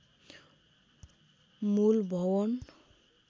मूल भवन